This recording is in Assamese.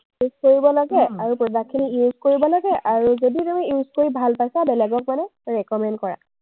test কৰিব লাগে আৰু product খিনি use কৰিব লাগে আৰু যদি তুমি use কৰি ভাল পাইছা, বেলেগক মানে recommend কৰা।